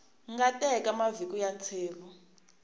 nga teka mavhiki ya ntsevu